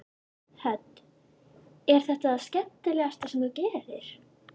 Hödd: Er þetta það skemmtilegasta sem þú gerir?